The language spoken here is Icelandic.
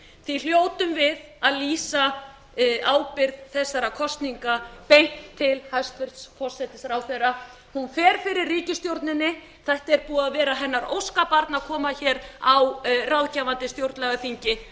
því hljótum við að vísa ábyrgð þessara kosninga beint til hæstvirts forsætisráðherra hún fer fyrir ríkisstjórninni þetta er búið að vera hennar óskabarn að koma hér á ráðgefandi stjórnlagaþingi